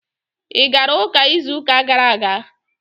Ị gara ụka izu ụka gara aga?